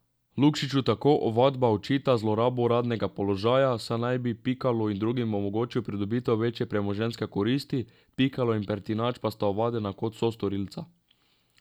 Lukšiču tako ovadba očita zlorabo uradnega položaja, saj naj bi Pikalu in drugim omogočil pridobitev večje premoženjske koristi, Pikalo in Pertinač pa sta ovadena kot sostorilca.